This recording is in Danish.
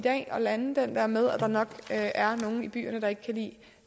at lande den der med at der nok er nogle i byerne der ikke kan lide